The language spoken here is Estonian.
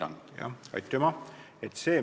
Aitüma!